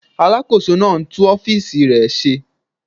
Alàkóso náà ń tún ọ́fìsì rẹ̀ ṣe